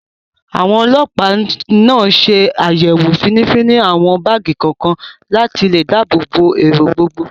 Àwọn Ọlọpa náà ṣe àyẹ̀wò finifini àwọn báàgì kọ̀ọ̀kan, láti lè dáàbò bo èrò gbogbo